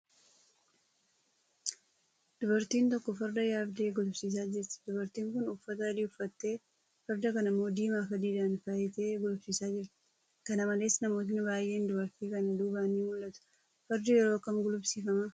Dubartiin tokko farda yaabdee gulufsiisaa jirti. Dubartiin kun uffata adii uffattee, farda kana immoo diimaa fi adiidhaan faayitee gulufsiisaa jirti. Kanamalees, namootni baay'een dubartii kana duubaan ni mul'atu. Fardi yeroo kam gulufsiifama?